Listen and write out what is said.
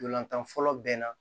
Ntolantan fɔlɔ bɛɛ na